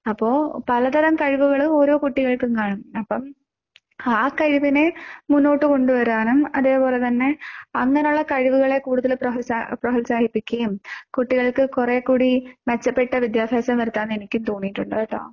അപ്പോ പല തരം കഴിവുകളും ഓരോ കുട്ടികൾക്കും കാണും. അപ്പോ ആ കഴിവിനെ മുന്നോട്ട് കൊണ്ട് വരാനും അതേ പോലെ തന്നെ അങ്ങനെയുള്ള കഴിവുകളെ കൂടുതൽ പ്രോൽസാഹിപ്പിക്കുകയും കുട്ടികൾക്ക് കുറെ കൂടി മെച്ചപ്പെട്ട വിദ്യാഭ്യാസം വരുത്താമെന്ന് എനിക്ക് തോന്നിയിട്ടുണ്ട് കെട്ടോ.